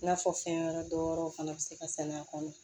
I n'a fɔ fɛn wɛrɛ dɔw wɛrɛw fana bɛ se ka sɛnɛ a kɔnɔ